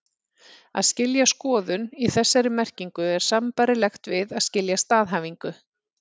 Að skilja skoðun, í þessari merkingu, er sambærilegt við að skilja staðhæfingu.